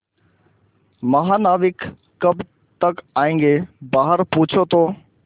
महानाविक कब तक आयेंगे बाहर पूछो तो